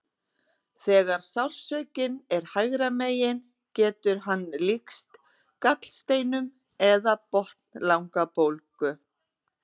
Þegar sársaukinn er hægra megin getur hann líkst gallsteinum eða botnlangabólgu.